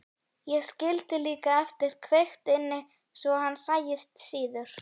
Ég skildi líka eftir kveikt inni svo hann sæist síður.